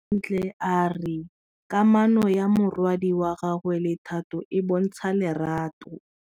Bontle a re kamanô ya morwadi wa gagwe le Thato e bontsha lerato.